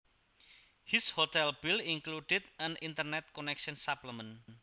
His hotel bill included an internet connection supplement